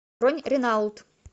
бронь ренаулт